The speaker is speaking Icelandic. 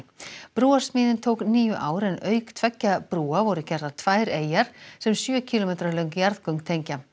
brúarsmíðin tók níu ár en auk tveggja brúa voru gerðar tvær eyjar sem sjö kílómetra löng jarðgöng tengja